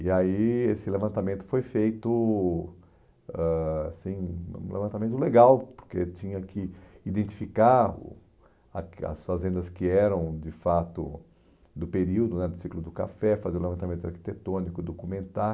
E aí esse levantamento foi feito, ãh assim, um levantamento legal, porque tinha que identificar o a as fazendas que eram de fato do período né, do ciclo do café, fazer o levantamento arquitetônico, documentar.